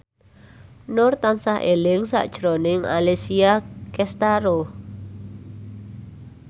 Nur tansah eling sakjroning Alessia Cestaro